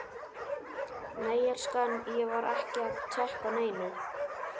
Nei elskan, ég var ekki að tékka á neinu.